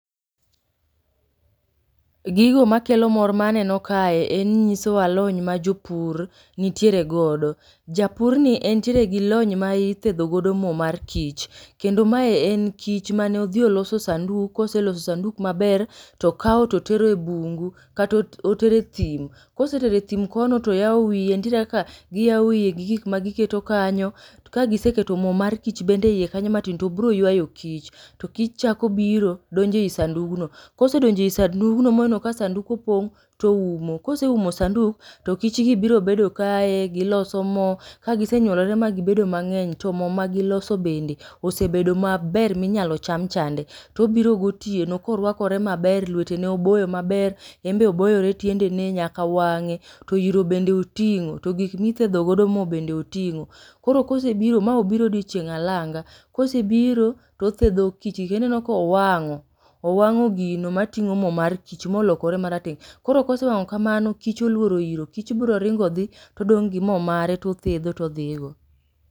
Gigo makelo mor ma aneno kae en nyiso alony ma jopur nitiere godo. Japur ni entiere gi lony ma ithedho godo mo mar kich, kendo ma en kich mane odhi oloso sanduk, koseloso sanduk maber to okao to otero e bungu kata otere thim. Kosetere thim kono to oyao wiye nitiere kaka giyao wiyegi gik ma giketo kanyo, to kagiseketo mo mar kich bende e ie kanyo matin to bro yuayo kich. To kich chako biro donjo ie sandugno. Kosedonjo ei sandugno moneno ka opong' to oumo. Koseumo sanduk to kich biro bedo kae giloso mo, ka gisenyuolore gibedo mng'eny to mo ma giloso bende osebedo maber minyalo cham chande, to obiro gotieno ka orwakore maber lwetene oboyo maber, enbe oboyore tiendene nyaka wang'e, to oro bende oting'o, to gik mithedho godo mo bende oting'o. Koro kosebiro ma obiro odiochieng' alanga, koro kosebiro to othedho kich gi, kendo ineno ka owang'o, owang'o gino mating'o mo mar ma olokore marateng'. Koro kosewang'o kamano kich oluoro iro, kich bro ringo dhi to odong' gi more to othedho to odhi go.